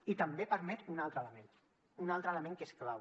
i també permet un altre element un altre element que és clau